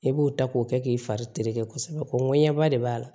E b'o ta k'o kɛ k'i fari tere kosɛbɛ ko ŋɔɲɛba de b'a la